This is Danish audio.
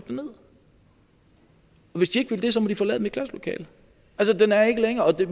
hvis de ikke vil det så må de forlade mit klasselokale altså den er ikke længere og det